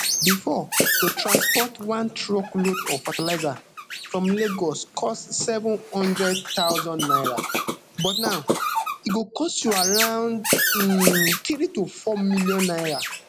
bifor to transport one truckload of fertilizer from lagos cost seven hundred thousand naira but now e go cost you around um three to four million naira